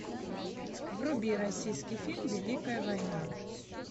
вруби российский фильм великая война